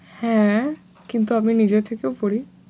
হ্যাঁ কিন্তু আমি নিজে থেকেও পড়ি।